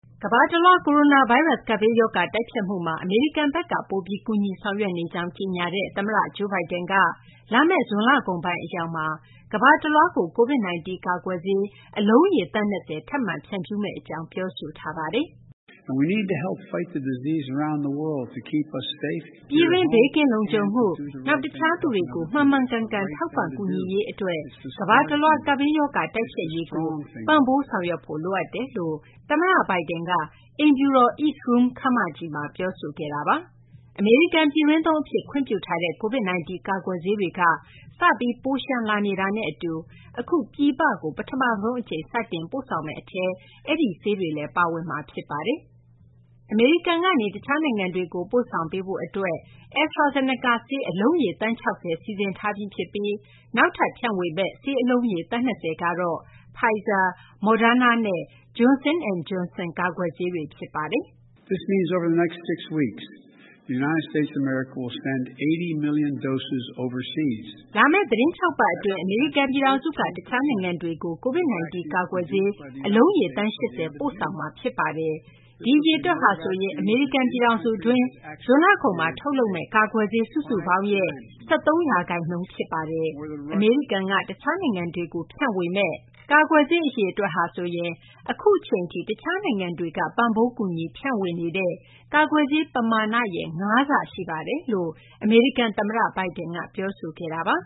ကမ္ဘာတလွှား ကိုရိုနာဗိုင်းရပ်စ် ကပ်ဘေးရောဂါ တိုက်ဖျက်မှုမှာ အမေရိကန်ဘက်က ပိုပြီး ကူညီဆောင်ရွက်နေကြောင်း ကြေညာတဲ့ သမ္မတ Joe Biden က လာမယ့် ဇွန်လကုန်ပိုင်း အရောက်မှာ ကမ္ဘာတလွှားကို COVID-19 ကာကွယ်ဆေး အလုံးရေ သန်း ၂၀ ထပ်မံဖြန့်ဖြူးမယ့် အကြောင်း ပြောဆိုခဲ့ပါတယ်။ ပြည်တွင်း ဘေးကင်းလုံခြုံမှု၊ နောက် တခြားသူတွေကို မှန်မှန်ကန်ကန် ထောက်ပံ့ကူညီရေး အတွက် ကမ္ဘာတလွှား ကပ်ဘေးရောဂါ တိုက်ဖျက်ရေးကို ပံ့ပိုးဆောင်ရွက်ဖို့ လိုအပ်တယ်လို့ သမ္မတ Biden က အိမ်ဖြူတော် East Room ခန်းမကြီးမှာ ပြောဆိုခဲ့တာပါ။ အမေရိကန် ပြည်တွင်းသုံး အဖြစ် ခွင့်ပြုထားတဲ့ COVID-19 ကာကွယ်ဆေးတွေက စပြီး ပိုလျှံလာနေတာနဲ့ အတူ အခု ပြည်ပကို အမေရိကန်က ပထမဆုံး အကြိမ် စတင် ပို့ဆောင်မယ့် အထဲမှာ အဲဒီ ဆေးတွေလည်း ပါဝင်မှာ ဖြစ်ပါတယ်။ အမေရိကန်ကနေ တခြားနိုင်ငံတွေကို ပို့ဆောင်ပေးဖို့ အတွက် AstraZeneca ဆေးအလုံးရေ သန်း ၆၀ စီစဉ်ထားပြီး ဖြစ်ပြီး နောက်ထပ် ဖြန့်ဝေမယ့် ဆေးအလုံးရေ သန်း ၂၀ ကတော့ Pfizer, Moderna နဲ့ Johnson & Johnson ကာကွယ်ဆေးတွေ ဖြစ်ပါတယ်။ "လာမယ့် သီတင်း ၆ ပတ် အတွင်း အမေရိကန် ပြည်ထောင်စုက တခြားနိုင်ငံတွေကို COVID-19 ကာကွယ်ဆေး အလုံးရေ သန်း ၈၀ ပို့ဆောင်မှာ ဖြစ်ပါတယ်။ ဒီအရေအတွက်ဟာဆိုရင် အမေရိကန် ပြည်ထောင်စု အတွင်း ဇွန်လကုန်မှာ ထုတ်လုပ်မယ့် ကာကွယ်ဆေး စုစုပေါင်းရဲ့ ၁၃ ရာခိုင်နှုန်း အရေအတွက် ဖြစ်ပါတယ်။ အမေရိကန်က တခြားနိုင်ငံတွေကို ဖြန့်ဝေမယ့် ကာကွယ်ဆေး အရေအတွက်ဟာဆိုရင် အခု အချိန်ထိ တခြားနိုင်ငံတွေက ပံ့ပိုး ကူညီ ဖြန့်ဝေနေတဲ့ ကာကွယ်ဆေး ပမာဏရဲ့ ၅ ဆ ရှိပါတယ်" လို့ အမေရိကန် သမ္မတ Biden က ပြောဆိုခဲ့တာပါ